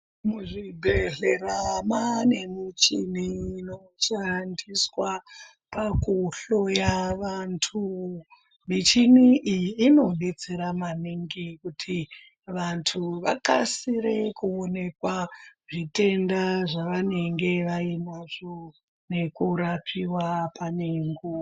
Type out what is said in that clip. Muzvibhedhlera mava nemichini inoshandiswa kuhloya vantu michini iyi inodetsera maningi kuti vantu Vakasire kuonekwa zvitenda zvavanenge varimo nekurapiwa pane nguwa.